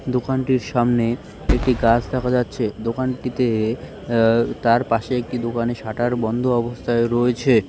দোকানটির সামনে একটি গাছ দেখা যাচ্ছে। দোকানটিতে উম তার পাশে একটি দোকানে শাটার বন্ধ অবস্থায় রয়েছে ।